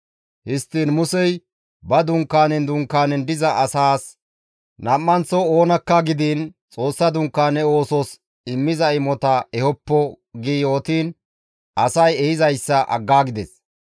Histtiin Musey ba dunkaanen dunkaanen diza asaas, «Nam7anththo oonakka gidiin Xoossa Dunkaane oosos immiza imota ehoppo» gi yootiin asay ehizayssa aggaagides.